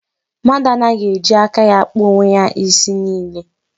Mmadụ anaghị eji aka ya akpa onwe ya isi niile.